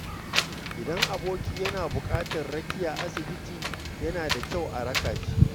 Idan aboki yana buƙatar rakiya asibiti, yana da kyau a raka shi.